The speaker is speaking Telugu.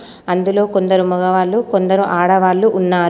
అందులో కొందరు మగవాళ్ళు కొందరు ఆడవాళ్లు ఉన్నారు.